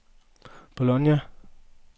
Bologna